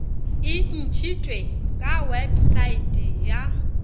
e ntšitšwe ka wepesaete ya